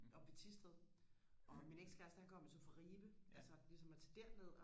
oppe ved Thisted og min ex kæreste han kom jo så fra Ribe altså ligesom og tage derned